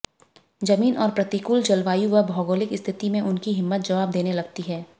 जमीन और प्रतिकूल जलवायु व भौगोलिक स्थिति में उनकी हिम्मत जवाब देने लगती है